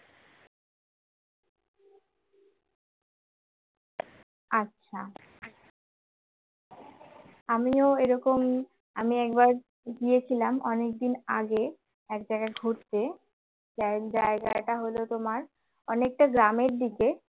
আচ্ছা আমিও এরকম আমি একবার গিয়েছিলাম অনেকদিন আগে এক জায়গায় ঘুরতে জায়গাটা হল তোমার অনেকটা গ্রামের দিকে